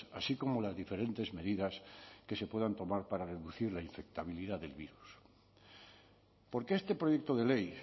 así como las diferentes medidas que se puedan tomar para reducir la infectabilidad del virus porque este proyecto de ley